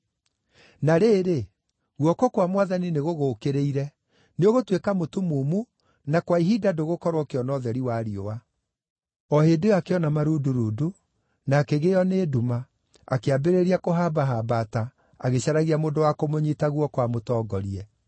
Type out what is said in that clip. Na rĩrĩ, guoko kwa Mwathani nĩgũgũũkĩrĩire. Nĩũgũtuĩka mũtumumu na kwa ihinda ndũgũkorwo ũkĩona ũtheri wa riũa.” O hĩndĩ ĩyo akĩona marundurundu, na akĩgĩĩo nĩ nduma, akĩambĩrĩria kũhambahambata, agĩcaragia mũndũ wa kũmũnyiita guoko amũtongorie.